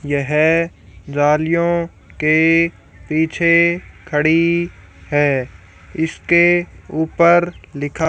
यह जालियों के पीछे खड़ी है इसके ऊपर लिखा--